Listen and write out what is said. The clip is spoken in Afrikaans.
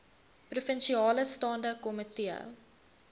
provinsiale staande komitee